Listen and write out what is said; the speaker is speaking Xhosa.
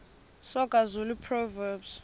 soga zulu proverbs